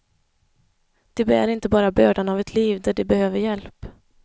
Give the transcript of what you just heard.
De bär inte bara bördan av ett liv där de behöver hjälp.